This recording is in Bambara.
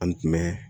An tun bɛ